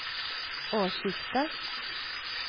årsskiftet